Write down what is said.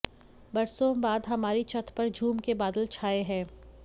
बरसों बाद हमारी छत पर झूम के बादल छाए हैं